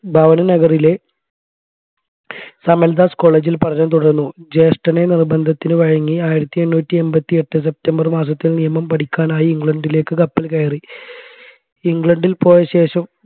ഭാവനനഗറിലെ Samaldas college ൽ പഠനം തുടർന്നു ജ്യേഷ്ടന്റെ നിർബന്ധത്തിനു വഴങ്ങി ആയിരത്തി എണ്ണൂറ്റി എമ്പതി എട്ട് സെപ്റ്റംബർ മാസത്തിൽ നിയമം പഠിക്കാനായി ഇംഗ്ലണ്ടിലേക്ക് കപ്പൽ കയറി ഇംഗ്ലണ്ടിൽ പോയശേഷം